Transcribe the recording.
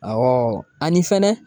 Awɔ ani fɛnɛ.